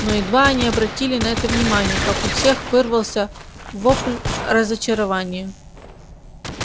но едва они обратили на это внимание как у всех вырвался вопль разочарования